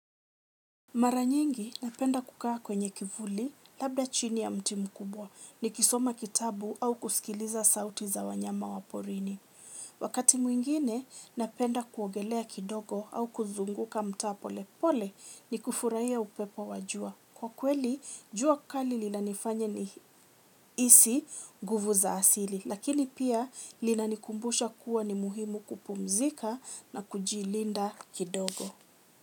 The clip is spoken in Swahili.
Mara nyingi napenda kukaa kwenye kivuli labda chini ya mti mkubwa nikisoma kitabu au kusikiliza sauti za wanyama wa porini. Wakati mwingine napenda kuogelea kidogo au kuzunguka mtaa polepole ni kufurahia upepo wa jua. Kwa kweli jua kali linanifanya nihisi nguvu za asili lakini pia linanikumbusha kuwa ni muhimu kupumzika na kujilinda kidogo.